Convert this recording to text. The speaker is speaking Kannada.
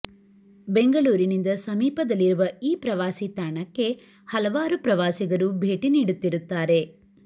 ಬೆಂಗಳೂರಿನಿಂದ ಸಮೀಪದಲ್ಲಿರುವ ಈ ಪ್ರವಾಸಿ ತಾಣಕ್ಕೆ ಹಲವಾರು ಪ್ರವಾಸಿಗರು ಭೇಟಿ ನೀಡುತ್ತಿರುತ್ತಾರೆ